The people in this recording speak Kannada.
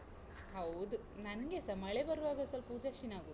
ಹೌದು, ನಂಗೆಸ ಮಳೆ ಬರುವಾಗ ಸ್ವಲ್ಪ ಉದಾಸೀನ ಆಗುದು.